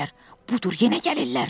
Budur, yenə gəlirlər.